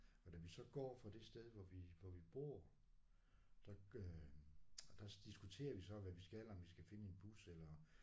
Og da vi så går fra det sted hvor vi hvor vi bor der øh der diskuterer vi så hvad vi skal om vi skal finde en bus eller